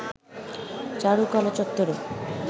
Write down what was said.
চারুকলা চত্বরে